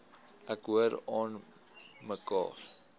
ek hoor aanmekaar